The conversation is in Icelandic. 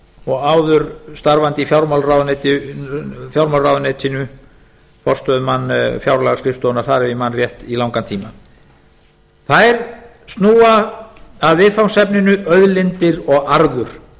og áður starfandi í fjármálaráðuneytinu forstöðumann fjárlagaskrifstofunnar þar ef ég man rétt í langan tíma þær snúa að viðfangsefninu auðlindir og arður